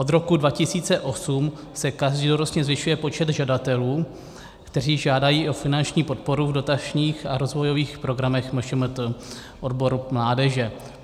Od roku 2008 se každoročně zvyšuje počet žadatelů, kteří žádají o finanční podporu v dotačních a rozvojových programech MŠMT, odboru mládeže.